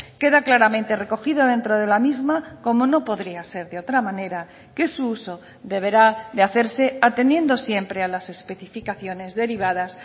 queda claramente recogido dentro de la misma como no podría ser de otra manera que su uso deberá de hacerse atendiendo siempre a las especificaciones derivadas